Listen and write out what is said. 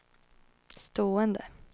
stående